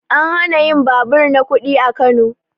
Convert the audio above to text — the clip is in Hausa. An hana yin babur na kuɗi a Kano